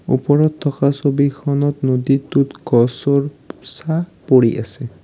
ওপৰত থকা ছবিখনত নদীটোত গছৰ ছাঁ পৰি আছে।